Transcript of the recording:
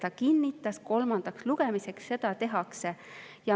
Ta kinnitas, et kolmandaks lugemiseks seda tehakse.